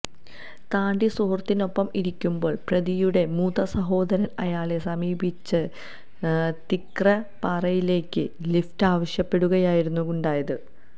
താണ്ടി സുഹൃത്തിനൊപ്പം ഇരിക്കുമ്പോള് പ്രതിയുടെ മൂത്തസഹോദരന് അയാളെ സമീപിച്ച് തിക്രപ്പാറിയിലേക്ക് ലിഫ്റ്റ് ആവശ്യപ്പെടുകയായിരുന്നു ഉണ്ടായത്